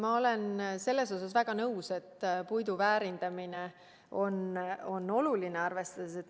Ma olen väga nõus, et puidu väärindamine on oluline.